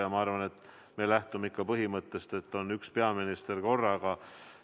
Ja ma arvan, et me lähtume ikka põhimõttest, et on üks peaminister korraga.